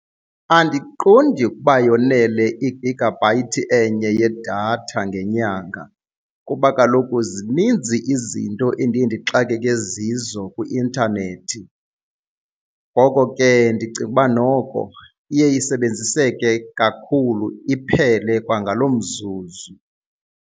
Andiqondi ukuba yonele igagabhayithi enye yedatha ngenyanga kuba kaloku zininzi izinto endiye ndixakeke zizo kwi-intanethi, ngoko ke ndicinga ukuba noko iye isebenziseke kakhulu iphele kwangaloo mzuzu.